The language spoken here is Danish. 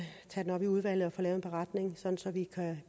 tage det op i udvalget og få lavet en beretning så vi